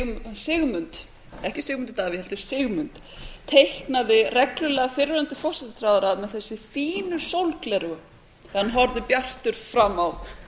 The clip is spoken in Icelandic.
sigmund ekki sigmundur davíð heldur sigmund teiknaði reglulega fyrrverandi forsætisráðherra með þessi fínu sólgleraugu þegar hann horfði bjartur fram á